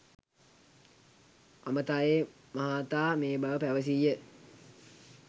අමතා ඒ මහතා මේ බව පැවසීය